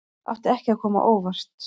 Átti ekki að koma á óvart